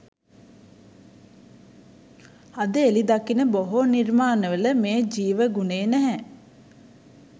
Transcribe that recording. අද එළි දකින බොහෝ නිර්මාණවල මේ ජීව ගුණය නැහැ